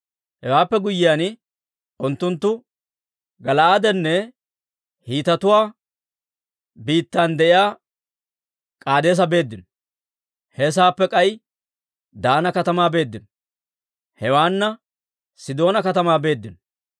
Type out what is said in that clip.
Hewaappe guyyiyaan, unttunttu Gala'aadenne Hiitetuwaa biittan de'iyaa K'aadeesa beeddino; he saappe k'ay Daana katamaa beeddino; hewaana Sidoona katamaa beeddino.